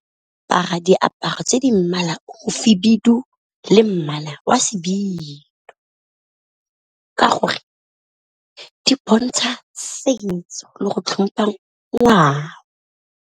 Apara diaparo tse di mmala o khibidu le mmala wa sebilo, ka gore di bontsha setso le go tlhompha ngwao.